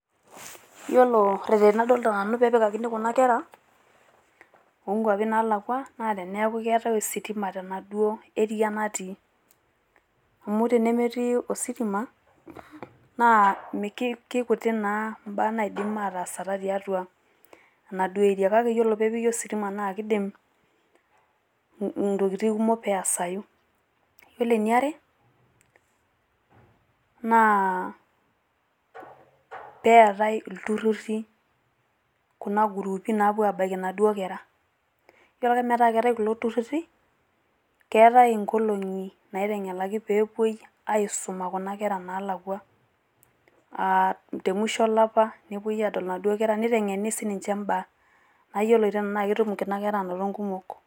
Yiolo irreteni ladolita nanu peyie epikakini kuna kera oo nkuapi naalakua naa teneaku keetai ositima tenaduo area natii. Amu tenemetii naa ositima naa keikutik naa imbaa naidim ataasata tiatua enaduo area. Kake ore pee epiki ositima naa keidim ntokitin kumok pee eesayu. Ore e niare naa pee eyatai ilturruri kuna group ii naapuo abaiki naduo kera. Yiolo ake metaa keetae kulo turruri keetae nkolong`i naiteng`elaki pee epuoi aisuma kuna kera naalakua, aa te musho olapa nepuoi aadol inaduo kera neiteng`eni sii ninche imbaa metayioloto enaa ketum inaduo kera nkumok.